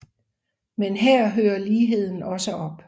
Men her hører ligheden også op